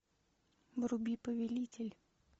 вруби повелитель